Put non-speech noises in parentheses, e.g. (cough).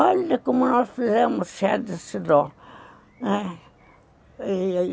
Olha como nós fizemos chá de cidró, não é (unintelligible)